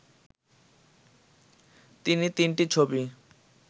তিনি তিনটি ছবি